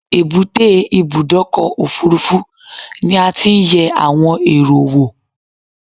Èbúté Ibùdọ́kọ̀ òfurufú ni a ti n yẹ àwon èrò wo